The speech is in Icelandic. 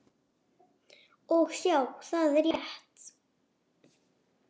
Og sjá, það er rétt.